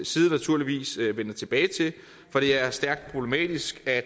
side naturligvis vende tilbage til for det er stærkt problematisk at